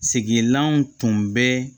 Sigilanw tun bɛ